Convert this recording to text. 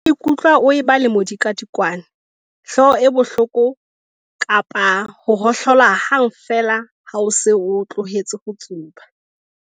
O ka ikutlwa o eba le modikwadikwane, hlooho e bohloko kapa ho ohlola hang feela ha o se o tlohetse ho tsuba.